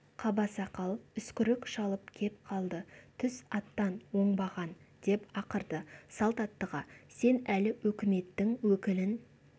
қабасақал үскірік шалып кеп қалды түс аттан оңбаған деп ақырды салт аттыға сен әлі өкіметтің өкілін